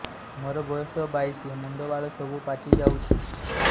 ମୋର ବୟସ ବାଇଶି ମୁଣ୍ଡ ବାଳ ସବୁ ପାଛି ଯାଉଛି